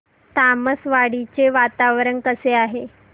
तामसवाडी चे वातावरण कसे आहे